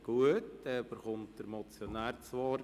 Gut, dann kommt der Motionär zu Wort.